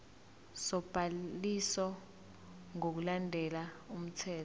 sobhaliso ngokulandela umthetho